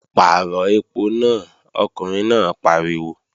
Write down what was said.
Pàrọ̀ ẹpo náà, ọkùnrin náà pariwo!